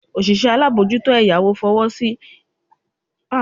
Osise alamojuto eyawo fowosi iforukosile eyawo onibara naa